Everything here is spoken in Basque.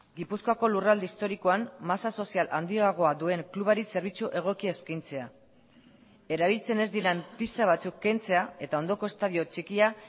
gipuzkoako lurralde historikoan masa sozial handiagoa duen klubari zerbitzu egokia eskaintzea erabiltzen ez diren pista batzuk kentzea eta ondoko estadio txikia